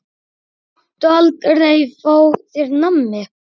Máttu aldrei fá þér nammi?